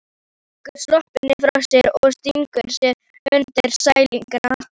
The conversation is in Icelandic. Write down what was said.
Hún leggur sloppinn frá sér og stingur sér undir sængina.